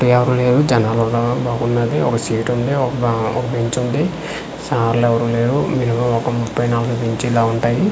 చుట్టూ ఎవ్వరు లేరు జనాలు ఉన్నారు బాగున్నది ఒక సీట్ ఉంది ఒక-క ఒక బెంచ్ ఉంది సార్లు ఎవ్వరు లేరు మినిమం ఒక ముపై నలభై బెంచ్లు అలా ఉంటాయి.